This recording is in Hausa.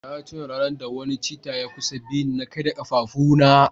na tuna ranar da wani cheetah ya kusa bi ni na karya kafafuna